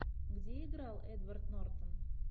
где играл эдвард нортон